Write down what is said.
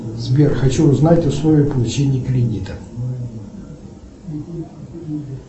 сбер хочу узнать условия получения кредита